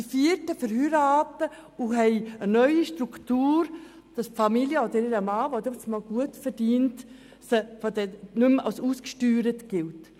Ein vierter Teil verheiratet sich und hat eine neue Struktur, wo die Personen aufgrund der Familie oder des allenfalls gut verdienenden Mannes nicht mehr als ausgesteuert gelten.